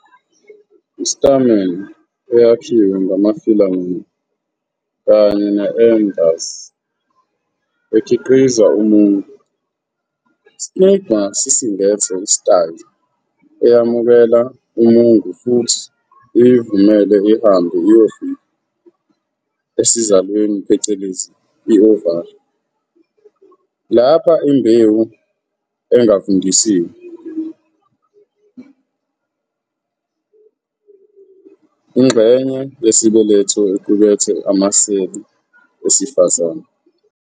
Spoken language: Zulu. I-stamen eyakhiwe ngama-filamen kanye ne-anthers ekhiqiza umungu. Istigma sisingethe i-style, eyamukela umungu futhi iyivumele ihambe iyofika esizalweni phecelezi i-ovary, lapha imbewu engavundisiwe, i.e. ingxenye yesibeletho equkethe amaseli esifazane.